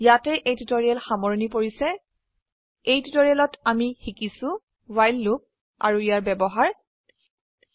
ইয়াতে এই টিউটৰীয়েল সামৰনি পৰিছে এই টিউটৰিয়েলত আমি শিকিছো ৱ্হাইল লুপ আৰু ইয়াৰ ব্যবহাৰ শিকিছো